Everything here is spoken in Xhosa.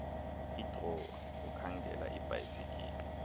idrowa ukhangela ibhayisikile